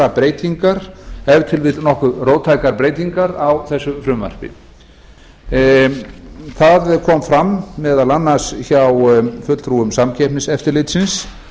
breytingar ef til vill nokkuð róttækar breytingar á þessu frumvarpi það kom fram meðal annars hjá fulltrúum samkeppniseftirlitsins